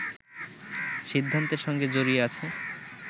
সিদ্ধান্তের সঙ্গে জড়িয়ে আছে